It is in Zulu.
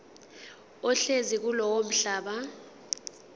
ohlezi kulowo mhlaba